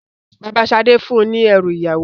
Bàbá Sadé fún un ní ẹrú ìyàwó.